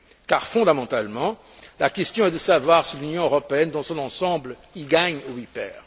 Car, fondamentalement, la question est de savoir si l'Union européenne, dans son ensemble, y gagne ou y perd.